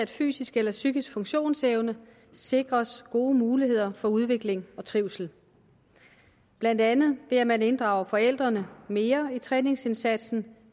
fysisk eller psykisk funktionsevne sikres gode muligheder for udvikling og trivsel blandt andet ved at man inddrager forældrene mere i træningsindsatsen